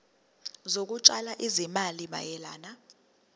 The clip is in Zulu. zokutshala izimali mayelana